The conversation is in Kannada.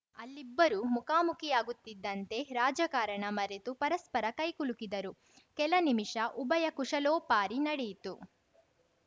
ಅಲ್ಲಿ ಇಬ್ಬರೂ ಮುಖಾಮುಖಿಯಾಗುತ್ತಿದ್ದಂತೆ ರಾಜಕಾರಣ ಮರೆತು ಪರಸ್ಪರ ಕೈಕುಲುಕಿದರು ಕೆಲ ನಿಮಿಷ ಉಭಯ ಕುಶಲೋಪಾರಿ ನಡೆಯಿತು